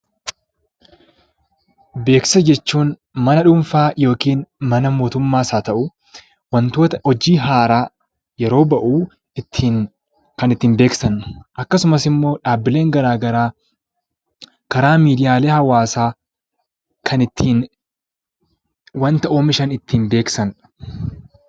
Beeksisa jechuun mana dhuunfaa yookiin mana mootummaas haa ta'uu wantoota hojii haaraa yeroo bahu kan ittiin beeksisan akkasumas immoo dhaabbileen garaagaraa karaa miidiyaalee hawaasaa kan ittiin wanta oomishan beeksisanidha.